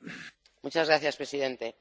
Señor presidente,